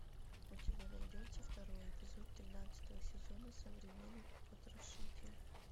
у тебя найдется второй эпизод тринадцатого сезона современный потрошитель